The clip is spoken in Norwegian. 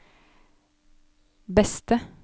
beste